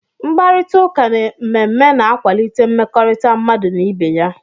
Mkparịta ụka na mmemme na-akwalite mmekọrịta mmadụ n'ibé ya.